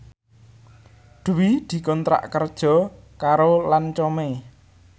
Dwi dikontrak kerja karo Lancome